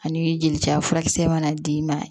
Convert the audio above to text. Ani jeli caya furakisɛ mana d'i ma